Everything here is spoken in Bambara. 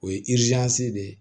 O ye de ye